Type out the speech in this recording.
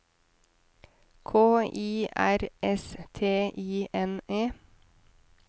K I R S T I N E